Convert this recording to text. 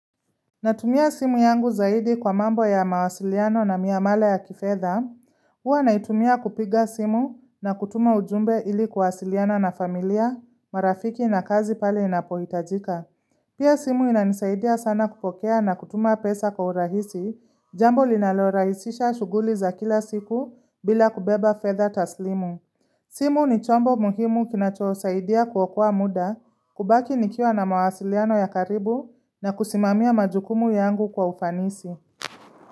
Natumia simu yangu zaidi kwa mambo ya mawasiliano na miamala ya kifedha. Huwa naitumia kupiga simu na kutuma ujumbe ili kuwasiliana na familia, marafiki na kazi pale inapoitajika. Pia simu inanisaidia sana kupokea na kutuma pesa kwa urahisi, jambo linalorahisisha shughuli za kila siku bila kubeba fedha taslimu. Simu ni chombo muhimu kinachosaidia kuokoa muda kubaki nikiwa na mawasiliano ya karibu na kusimamia majukumu yangu kwa ufanisi.